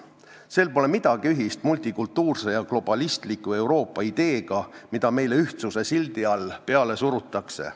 Sel pole midagi ühist multikultuurse ja globalistliku Euroopa ideega, mida meile ühtsuse sildi all peale surutakse.